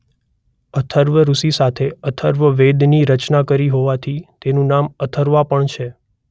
અથર્વ ઋષિ સાથે અથર્વવેદની રચના કરી હોવાથી તેનું નામ અથર્વા પણ છે.